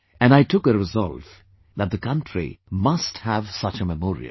And I took a resolve that the country must have such a Memorial